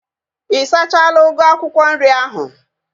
Ị sachala ugu akwụkwọ nri ahu?